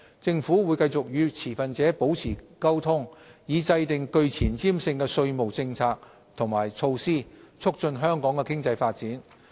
政府會繼續與持份者保持溝通，以制訂具前瞻性的稅務政策及措施，促進香港的經濟發展。